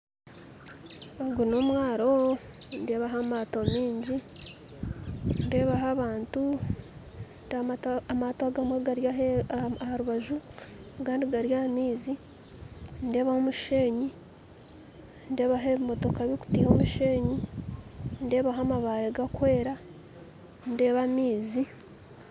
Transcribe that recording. Ogu n'omwaro nindebaho amaato mingi nindebaho abantu nindeeba amaato agamwe gari aharubaju agandi gari aha maizi nindebaho omusheenyi nindebaho ebimotoka bikutiiha omushenyi nindebaho amabare gakwera nindeba amaizi.